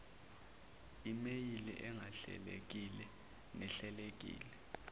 imeyili engahlelekile nehlelekile